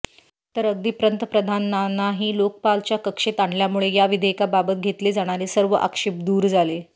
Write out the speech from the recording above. तर अगदी पंतप्रधानांनाही लोकपालाच्या कक्षेत आणल्यामुळे या विधेयकाबाबत घेतले जाणारे सर्व आक्षेप दूर झाले